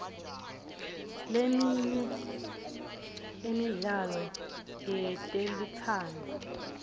leminye emidlalo yetelutsandvo